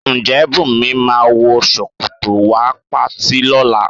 Ǹjẹ́ Bùnmi máa wọ ṣòkòtò wá patí lọ́la?